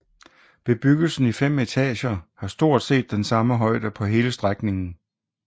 Bebyggelsen i fem etager har stort set den samme højde på hele strækningen